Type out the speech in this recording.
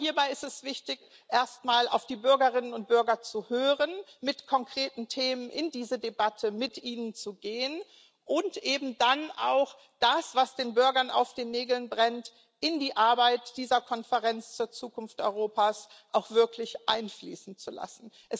Aber hierbei ist es wichtig, erstmal auf die Bürgerinnen und Bürger zu hören, mit konkreten Themen in diese Debatte mit ihnen zu gehen und eben dann das, was den Bürgern auf den Nägeln brennt, in die Arbeit dieser Konferenz zur Zukunft Europas auch wirklich einfließen zu lassen.